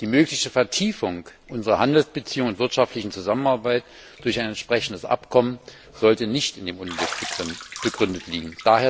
Die mögliche Vertiefung unserer Handelsbeziehungen und wirtschaftlichen Zusammenarbeit durch ein entsprechendes Abkommen sollte nicht in dem Unglück begründet liegen.